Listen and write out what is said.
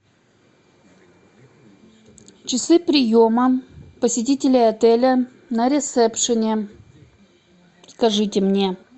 часы приема посетителей отеля на ресепшене скажите мне